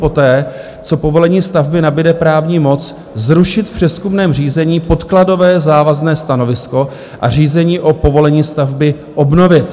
- poté, co povolení stavby nabude právní moc, zrušit v přezkumném řízení podkladové závazné stanovisko a řízení o povolení stavby obnovit.